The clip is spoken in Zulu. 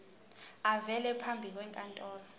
avele phambi kwenkantolo